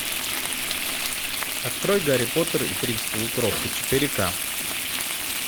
открой гарри поттер и принц полукровка четыре ка